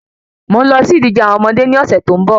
Mò n lọ sí ìdíje àwọn ọmọdé ni ọ̀sẹ̀ tó ń bo